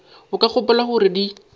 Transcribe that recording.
o ka gopola gore di